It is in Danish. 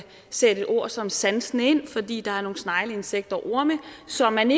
sætte et ord som sansende ind fordi der er nogle snegle insekter og orme som man